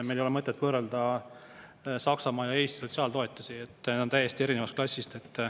Meil ei ole mõtet võrrelda Saksamaa ja Eesti sotsiaaltoetusi, need on täiesti erinevast klassist.